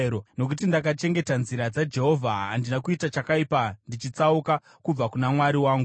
Nokuti ndakachengeta nzira dzaJehovha; handina kuita chakaipa ndichitsauka kubva kuna Mwari wangu.